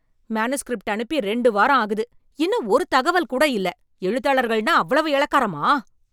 Manuscript அனுப்பி ரெண்டு வாரம் ஆகுது. இன்னும் ஒரு தகவல் கூட இல்ல! எழுத்தாளர்கள்னா அவ்வளவு இளக்காரமா?